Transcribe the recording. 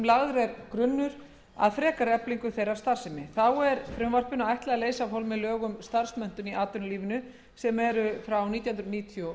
lagður er grunnur að frekari eflingu þeirrar starfsemi þá er frumvarpinu ætlað að leysa af hólmi lög um starfsmenntun í atvinnulífinu númer nítján nítján hundruð níutíu og